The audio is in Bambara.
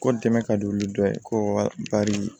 Ko dɛmɛ ka don olu dɔ ye ko wala bari